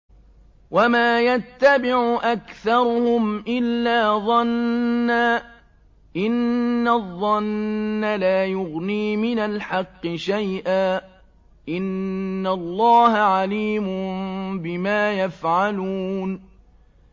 وَمَا يَتَّبِعُ أَكْثَرُهُمْ إِلَّا ظَنًّا ۚ إِنَّ الظَّنَّ لَا يُغْنِي مِنَ الْحَقِّ شَيْئًا ۚ إِنَّ اللَّهَ عَلِيمٌ بِمَا يَفْعَلُونَ